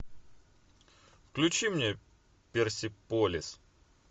включи мне персиполис